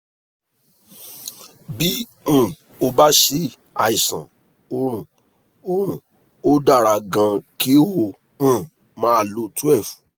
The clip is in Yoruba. bí um ó bá sí àìsàn orun oorun ó dára gan-an kí o um máa lo twelve